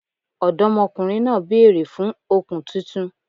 Ọ̀dọ́mọkùnrin náà bèèrè fun òkun titun